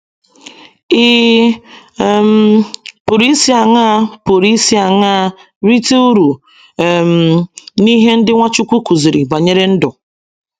Ị̀ um pụrụ isi aṅaa pụrụ isi aṅaa rite uru um n’ihe ndị Nwachukwu kụziri banyere ndụ?